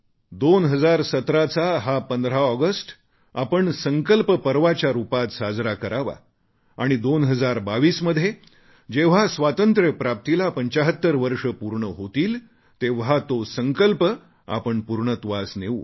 2017 चा हा 15 ऑगस्ट आपण संकल्प पर्वाच्या रूपात साजरा करावा आणि 2022 मध्ये जेव्हा स्वातंत्र्यप्राप्तीला 75 वर्षं पूर्ण होतील तेव्हा तो संकल्प आपण पूर्णत्वास नेऊ